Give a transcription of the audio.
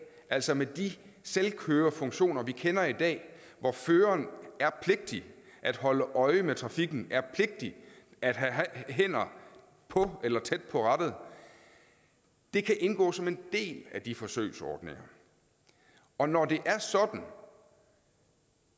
altså med de selvkørefunktioner vi kender i dag hvor føreren er pligtig at holde øje med trafikken er pligtig at have hænderne på eller tæt på rattet de kan indgå som en del af de forsøgsordninger og når det er sådan